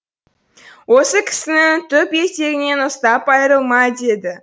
осы кісінің түп етегінен ұстап айрылма дейді